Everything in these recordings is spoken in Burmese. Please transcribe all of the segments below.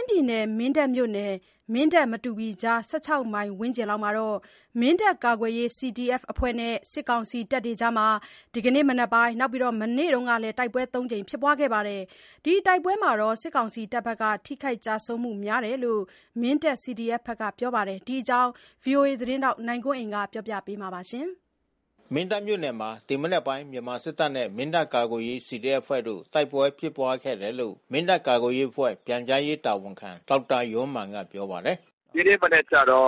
င်းပြည်နယ်၊ မင်းတပ်မြို့နယ် မင်းတပ်-မတူပီကြား ၁၆ မိုင်ဝန်းကျင်မှာ မင်းတပ်ကာကွယ်ရေး CDF အဖွဲ့နဲ့ စစ်ကောင်စီတပ်တွေ အကြား ဒီကနေ့မနက်မှာရော မနေ့ကပါ တိုက်ပွဲတွေ ပြင်းထန်ခဲ့ပါတယ်။ ဒီတိုက်ပွဲတွေမှာ စစ်ကောင်စီတပ်ဘက်က ထိခိုက်ကျဆုံးမှု များတယ်လို့ မင်းတပ် CDF ဘက်ကပြောပါတယ်။ ဒီအကြောင်းဗွီအိုအေသတင်းထောက်နိုင်ကွန်းအိန်ကနေ စုံစမ်းတင်ပြထားပါတယ်။ မင်းတပ်မြို့နယ်မှာ ဒီမနက်ပိုင်း မြန်မာစစ်တပ်နဲ့ မင်းတပ်ကာကွယ်ရေး CDF အဖွဲ့တို့ တိုက်ပွဲဖြစ်ပွါးခဲ့တယ်လို့ မင်းတပ်ကာကွယ်ရေးအဖွဲ့ ပြန်ကြားရေးတာဝန်ခံ ဒေါက်တာယောမာန်ကပြောပါတယ်။ “ဒီနေ့မနက်ကျတော့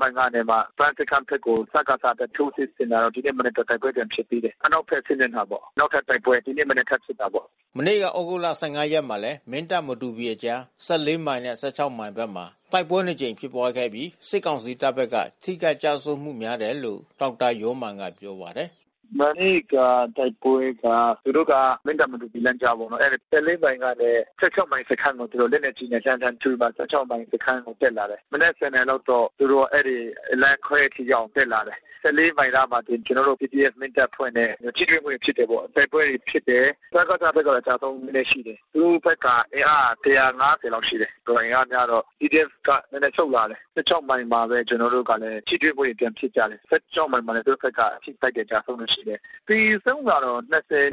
မိုင်ကနေမှ ပန်းစခန်းဘက်ကို စကစဘက် ထိုးစစ်ဆင်လာတော့ ဒီနေ့မနက်တ ိုက်ပွဲပြန်ဖြစ်သေးတယ်။ အနောက်ဘက် စစ်မျက်နှာပေါ့။ နောက်ထပ်တိုက်ပွဲ ဒီနေ့ မနက် ထပ်ဖြစ်တာပေါ့။” မနေ့က သြဂုတ်လ ရက်မှာလည်း မင်းတပ်-မတူပီအကြား ၁၄ မိုင်နဲ့ ၁၆ မိုင်ဘက်မှာ တိုက်ပွဲနှစ်ကြိမ်ဖြစ်ပွးခဲ့ပြီး စစ်ကောင်စီတပ် ဘက်က ထိခိုက်ကျဆုံးမှုများတယ်လို့ ဒေါက်တာယောမာန်က ပြောပါတယ်။ “မနေ့က တိုက်ပွဲက မင်းတပ်-မတူပီလမ်းကြားပေါ့။ အဲဒီ မိုင်နဲ့ မိုင်စခန်းကို သူတို့က လက်နက်ကြီးနဲ့လှန်းလှန်းထုပြီးမှ မိုင်စခန်းကို တက်လာတယ်။ မနက် နာရီလောက်တော့ သူတို့ အဲဒီလမ်းခွဲထိရောက်အောင် တက်လာတယ်။ မိုင်အနားမှာ ကျနော်တို့ CDF မင်းတပ်အဖွဲ့နဲ့ ထိတွေ့မှုတွေဖြစ်တယ်ပေါ့။ တိုက်ပွဲတွေဖြစ်တယ်။ စကစဘက်က ကျဆုံးမှုနည်းနည်း ရှိတယ်။ သူတို့ဘက်က အင်အားက လောက်ရှိတယ်။ ဆိုတော့အင်အားများတော့ CDF ဘက်က နည်းနည်းဆုတ်လာတယ်။ မိုင်မှာပဲ ကျနော်တို့နဲ့ ထိ တွေ့မှု ပြန်ဖြစ်ကြတယ်။ မိုင်မှာပဲ။ သူတို့ဘက်က ထိခိုက်တာ၊ ကျဆုံးတာရှိတယ်။ သေဆုံးတာက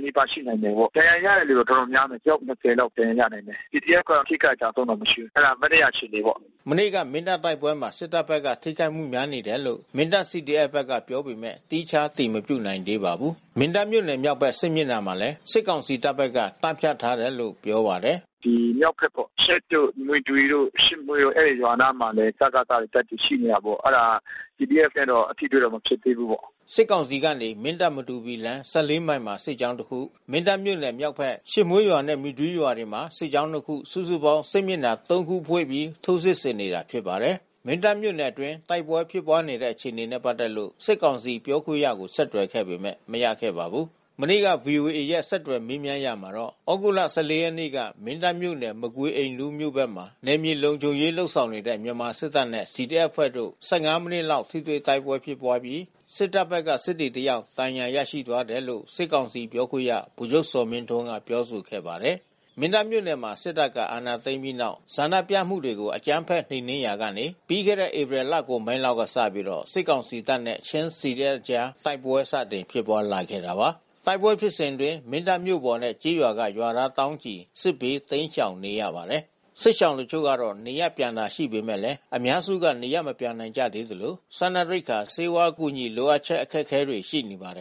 နီးပါးရှိနိုင်တာပေါ့။ ဒဏ်ရာရတဲ့ သူ တော်တော်များမယ်။ အယောက် လောက်ဒဏ်ရာရနိုင်တယ်။ CDF ဘက်က ထိခိုက်ကျဆုံးတာမရှိဘူး။ မနေ့က အခြေအနေပေါ့။” မနေ့က မင်းတပ်တိုက်ပွဲမှာ စစ်တပ်ဘက်ကထိခိုက်မှုများနေတယ်လို့ မင်းတပ် CDF ဘက်ကပြောပေမယ့် သီးခြားအတည်မပြုနိုင်သေးပါဘူး။ မင်းတပ်မြို့နယ်မြောက်ဘက် စစ်မျက်နှာမှာလည်း စစ်ကောင်စီတပ်ဘက်က တပ်ဖြန့်ထားတယ်လို့ ပြောပါတယ်။ “ဒီမြောက်ဘက်ပေါ့။ ယှက်တို့၊ မွီတွီတို့၊ ရှစ်မွှေးတို့ အဲဒီရွာနားမှာ စကစတပ်တွေရှိနေတာပေါ့။ အဲဒါ CDF နဲ့တော့ ထိတွေ့မှု မဖြစ်သေးဘူးပေါ့။” စစ်ကောင်စီကနေ မင်းတပ်-မတူပီလမ်း ၁၄ မိုင်မှာ စစ်ကြောင်း တခု၊ မင်းတပ်မြို့မြောက်ဘက် ရှစ်မွှေးရွာနဲ့ မွီတွီ ရွာတွေမှာ စစ်ကြောင်းနှစ်ခု စုစုပေါင်း စစ်မျက်နှာ ၃ ခုဖွင့်ပြီး ထိုးစစ်ဆင်နေတာဖြစ်ပါတယ်။ မင်းတပ်မြို့နယ်အတွင်း တိုက်ပွဲဖြစ်ပွါးနေတဲ့အခြေအနေနဲ့ပက်သက်လို့ စစ်ကောင်စီပြောခွင့်ရကိုဆက်သွယ်ခဲ့ပေမယ့် မရခဲ့ပါဘူး။ မနေ့က ဗွီအိုအေက ဆက်သွယ်မေးမြန်းရာမှာတော့ သြဂုတ်လ ရက်နေ့က မင်းတပ်မြို့နယ် မကွီအိမ် နူးမြို့ဘက်မှာ နယ်မြေလုံခြုံရေးလုပ်နေတဲ့ မြန်မာစစ်တပ်နဲ့ CDF အဖွဲ့တို့ မိနစ်လောက် ထိတွေ့တိုက်ပွဲဖြစ်ပြီး စစ်တပ်ဘက်က စစ်သည်တယောက် ဒဏ်ရာရရှိသွားတယ်လို့ စစ်ကောင်စီ ပြောခွင့်ရဗိုလ်ချုပ်ဇော်မင်းထွန်းက ပြောဆိုခဲ့ပါတယ်။ မင်းတပ်မြို့နယ်မှာ စစ်တပ်ကအာဏာသိမ်းပြီးနောက် ဆန္ဒပြမှုတွေကို အကြမ်းဖက်နှိမ်နင်းရာကနေ ပြီးခဲ့တဲ့ ဧပြီလကုန်ပိုင်းလောက်ကစပြီး စစ်ကောင်စီတပ်နဲ့ ချင်း CDF တို့ကြား တိုက်ပွဲစတင်ဖြစ်ပွားလာခဲ့တာပါ။ တိုက်ပွဲဖြစ်စဉ်အတွင်း မင်းတပ်မြို့ပေါ်နဲ့ ကျေးရွာက ရွာသားသောင်းချီ စစ်ဘေးတိမ်းရှောင်နေရပါတယ်။ စစ်ရှောင်တချို့က နေရပ်ပြန်တာရှိပေမဲ့လည်း အများစုကနေရပ်မပြန်နိုင်ကြသေးသလို စားနပ်ရိက္ခာ ဆေးဝါးအကူညီ လိုအပ်ချက် အခက်ခဲတွေ ရှိနေပါတယ်